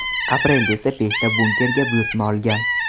Aprelda esa beshta bunkerga buyurtma olgan.